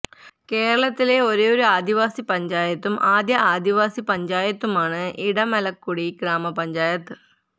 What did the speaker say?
കേരളത്തിലെ ഒരേ ഒരു ആദിവാസി പഞ്ചായത്തായത്തും ആദ്യ ആദിവാസി പഞ്ചായത്തുമാണ് ഇടമലക്കുടി ഗ്രാമപഞ്ചായത്ത്